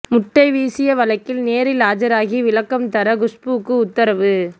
முட்டை வீசிய வழக்கில் நேரில் ஆஜராகி விளக்கம் தர குஷ்புவுக்கு உத்தரவு